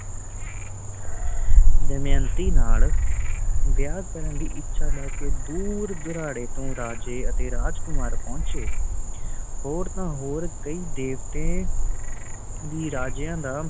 ਦਮਯੰਤੀ ਨਾਲ ਵਿਆਹ ਕਰਨ ਦੀ ਇੱਛਾ ਲੈ ਕੇ ਦੂਰ ਦੁਰਾੜੇ ਤੋਂ ਰਾਜੇ ਅਤੇ ਰਾਜਕੁਮਾਰ ਪਹੁੰਚੇ। ਹੋਰ ਤਾ ਹੋਰ ਕਈ ਦੇਵਤੇ ਵੀ ਰਾਜਿਆਂ ਦਾ